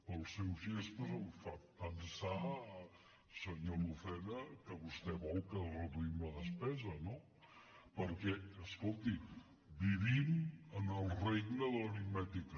pels seus gestos em fa pensar senyor lucena que vostè vol que reduïm la despesa no perquè escolti vivim en el regne de l’aritmètica